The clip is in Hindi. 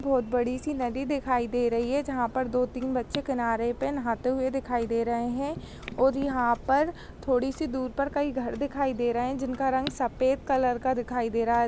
--बहुत बड़ी-सी नदी दिखाई दे रही है जहा पर दोतीन बच्चे कीयनरे पे नहाते हुए दिखिया दे रहे है ओर यह पर थोड़ी सी दूर पर कही घर दिखाई दे रहे है जिनका रंग सफेद कलर का दिखाई दे रहा हैं।